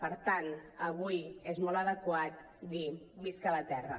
per tant avui és molt adequat dir visca la terra